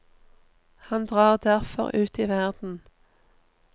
Han drar derfor ut i verden.